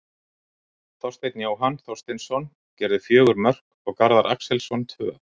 Þorsteinn Jóhann Þorsteinsson gerði fjögur mörk og Garðar Axelsson tvö.